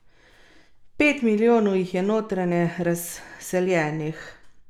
Pet milijonov jih je notranje razseljenih.